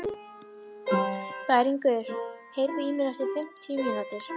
Bæringur, heyrðu í mér eftir fimmtíu mínútur.